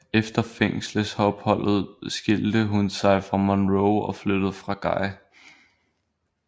Efter fængselsopholdet skilte hun sig fra Monroe og flyttede fra Guy